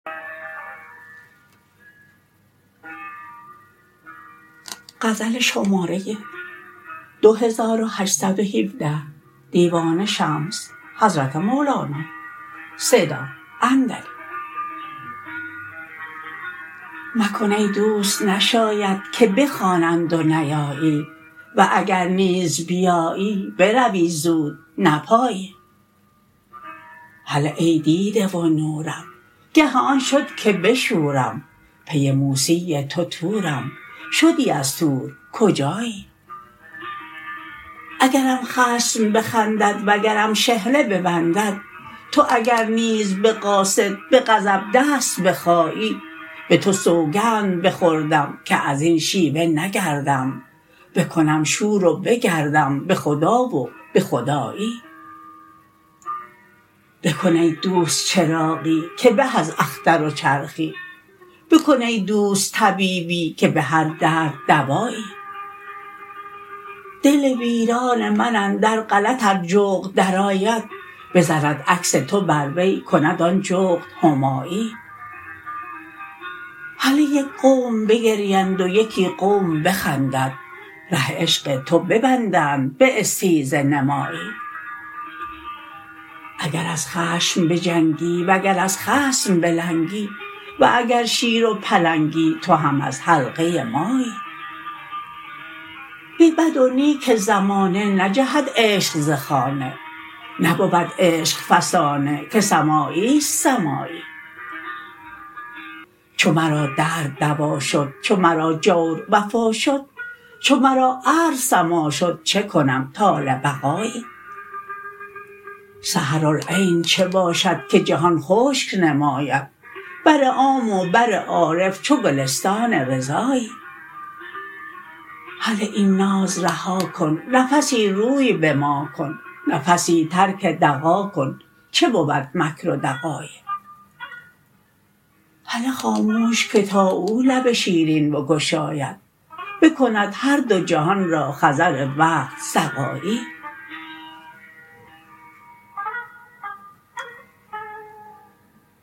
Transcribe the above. مکن ای دوست نشاید که بخوانند و نیایی و اگر نیز بیایی بروی زود نپایی هله ای دیده و نورم گه آن شد که بشورم پی موسی تو طورم شدی از طور کجایی اگرم خصم بخندد و گرم شحنه ببندد تو اگر نیز به قاصد به غضب دست بخایی به تو سوگند بخوردم که از این شیوه نگردم بکنم شور و بگردم به خدا و به خدایی بکن ای دوست چراغی که به از اختر و چرخی بکن ای دوست طبیبی که به هر درد دوایی دل ویران من اندر غلط ار جغد درآید بزند عکس تو بر وی کند آن جغد همایی هله یک قوم بگریند و یکی قوم بخندند ره عشق تو ببندند به استیزه نمایی اگر از خشم بجنگی وگر از خصم بلنگی و اگر شیر و پلنگی تو هم از حلقه مایی به بد و نیک زمانه نجهد عشق ز خانه نبود عشق فسانه که سمایی است سمایی چو مرا درد دوا شد چو مرا جور وفا شد چو مرا ارض سما شد چه کنم طال بقایی سحرالعین چه باشد که جهان خشک نماید بر عام و بر عارف چو گلستان رضایی هله این ناز رها کن نفسی روی به ما کن نفسی ترک دغا کن چه بود مکر و دغایی هله خاموش که تا او لب شیرین بگشاید بکند هر دو جهان را خضر وقت سقایی